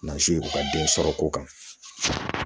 u ka den sɔrɔ k'o kan